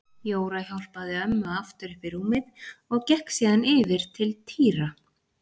Jóra hjálpaði ömmu aftur upp í rúmið og gekk síðan yfir til Týra.